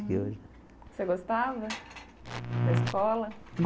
E hoje Você gostava da escola?